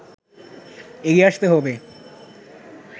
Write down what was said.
এগিয়ে আসতে হবে”